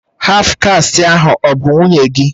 Haf kasti ahụ ọ bụ nwunye gị?